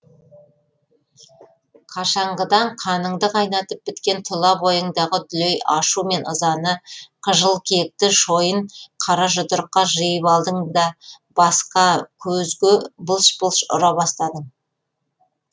қашанғыдан қаныңды қайнатып біткен тұла бойыңдағы дүлей ашу мен ызаны қыжыл кекті шойын қара жұдырыққа жиып алдың да басқа көзге былш былш ұра бастадың